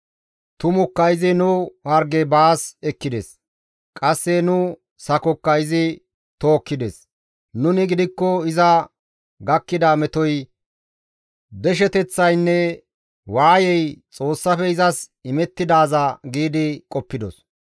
«Tumukka Izi nu harge baas ekkides; qasse nu sakokka izi tookkides. Nuni gidikko iza gakkida metoy, desheteththaynne waayey Xoossafe izas imettidaaza giidi qoppidos.